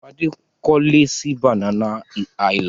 Fadé kọ́lé sí Banana Island.